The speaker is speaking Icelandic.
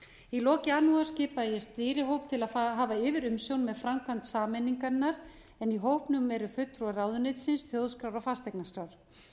í lok janúar skipaði ég stýrihóp til að hafa yfirumsjón með framkvæmd sameiningarinnar en í hópnum eru fulltrúar ráðuneytisins þjóðskrár og fasteignaskrár